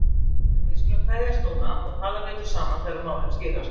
En við skulum kveðjast núna og tala betur saman þegar málin skýrast.